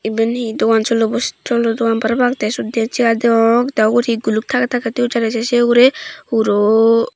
iban he dogan cholo dogan parapang the sut din chair degong the uguri guluk thangey thangey thoyun jani the se uguri huro.